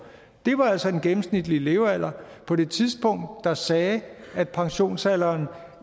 det var altså den gennemsnitlige levealder på det tidspunkt der sagde at pensionsalderen